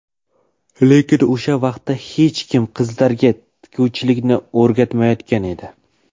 Lekin o‘sha vaqtda hech kim qizlarga tikuvchilikni o‘rgatmayotgan edi.